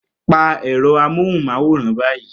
Pa ẹ̀rọ amóhùnmáwòrán báyìí